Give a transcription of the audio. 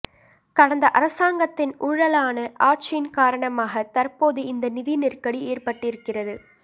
கடந்த அரசாங்கத்தின் ஊழலான ஆட்சியின் காரணமாக தற்போது இந்த நிதி நெருக்கடி ஏற்பட்டிருக்கிறது